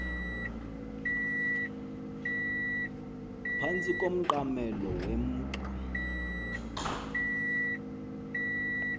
phantsi komqamelo wemka